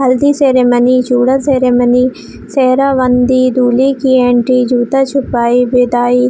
हल्दी ceremony Chooda ceremony सेहरा बंधी दूल्हे की एंट्री जूता छुपाई विदाई --